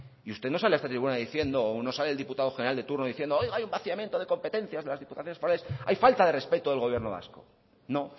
y usted no sale a esta tribuna diciendo o no sale el diputado general de turno oiga hay un vaciamiento de competencias de las diputaciones forales hay falta de respeto del gobierno vasco no